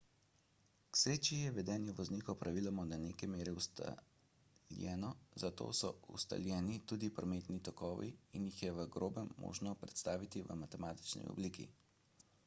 k sreči je vedenje voznikov praviloma do neke mere ustaljeno zato so ustaljeni tudi prometni tokovi in jih je v grobem možno predstaviti v matematični obliki